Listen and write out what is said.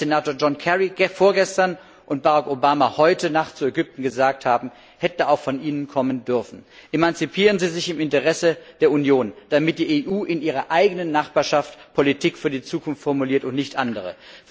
Was Senator John Kerry vorgestern und Barack Obama heute Nacht zu Ägypten gesagt haben, hätte auch von Ihnen kommen dürfen. Emanzipieren Sie sich im Interesse der Union, damit die EU in ihrer eigenen Nachbarschaft Politik für die Zukunft formuliert und nicht andere.